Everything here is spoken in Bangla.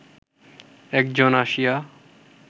একজন আসিয়া